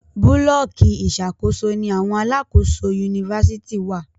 Búlọ̀kì Ìṣàkóso ní àwọn alákòóso Yunifásitìni wá